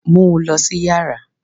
Mu u lọ si yara!